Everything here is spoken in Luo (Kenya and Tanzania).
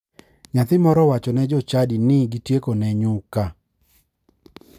Nyathi moro owacho ne jochadi ni gitiekone nyuka.